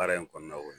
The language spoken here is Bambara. Baara in kɔnɔna o ye